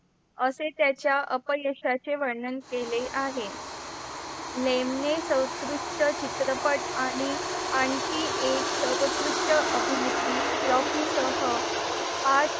असे त्याच्या अपयशाचे वर्णन केले आहे. लेम्णे सत्कृष्ट चित्रपट आणि आणखी एक सर्वोत्कृष्ट अभिनेत्री रॉकी सह आज